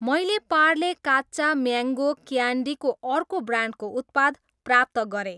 मैले पार्ले काच्चा म्याङ्गो क्यान्डीको अर्को ब्रान्डको उत्पाद प्राप्त गरेँ।